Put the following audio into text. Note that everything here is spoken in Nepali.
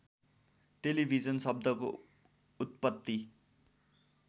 टेलिभिजन शब्दको उत्पत्ति